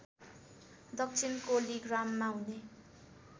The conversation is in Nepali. दक्षिण कोलिग्राममा हुने